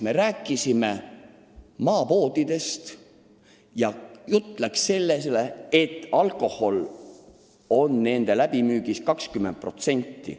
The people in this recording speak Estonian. Me rääkisime maapoodidest ja jutt läks sellele, et alkohol on nende läbimüügist moodustanud 20%.